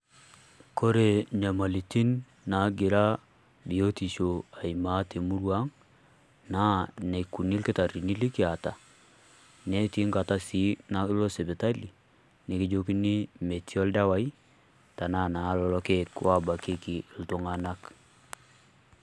Kore nyamalitin negira biotisho aimaa te murrua ang, naa nekuuni ilkitarini likieta netii nkaata sii naa iloo sipitali nekijokini metii oldewai tana naa lolo ilkiek o bakiki iltung'anak.